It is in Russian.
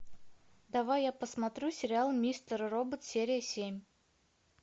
давай я посмотрю сериал мистер робот серия семь